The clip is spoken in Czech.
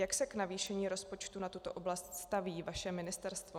Jak se k navýšení rozpočtu na tuto oblast staví vaše ministerstvo?